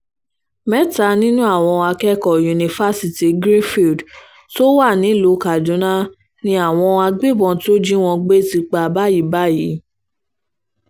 mẹ́ta nínú àwọn akẹ́kọ̀ọ́ yunifásitì greenfield tó wà nílùú kaduna ni àwọn agbébọ̀n tó jí wọn gbé ti pa báyìí báyìí